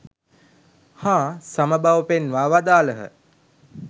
හා සම බව පෙන්වා වදාළහ.